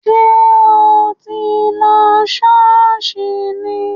Sé o tí ń lo Ṣọọṣ ni?